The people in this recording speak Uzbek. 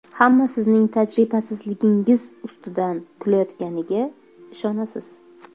Hamma sizning tajribasizligingiz ustidan kulayotganiga ishonasiz.